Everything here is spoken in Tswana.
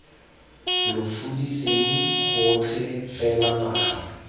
lo fudiseng gotlhe fela naga